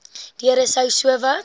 deure sou sowat